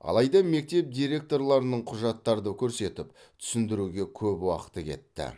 алайда мектеп директорларының құжаттарды көрсетіп түсіндіруге көп уақыты кетті